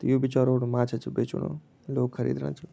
त यू बिचा रोड माछा च बेचणू लोग खरीदणा छिं।